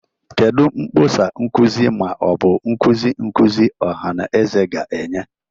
Kedu mkpọsa nkuzi ma ọ bụ nkuzi nkuzi ọha na eze ga-enye?